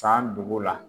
San dugu la